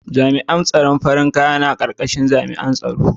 Jami'an tsaron farin kaya na karkashin jami'an tsaro.